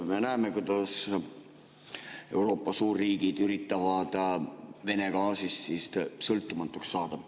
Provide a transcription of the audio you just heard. Me näeme, kuidas Euroopa suurriigid üritavad Vene gaasist sõltumatuks saada.